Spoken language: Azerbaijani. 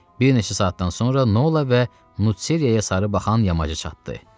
Bir neçə saatdan sonra Nola və Nuseriyaya sarı baxan yamacı çatdı.